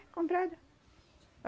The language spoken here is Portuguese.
É, comprada.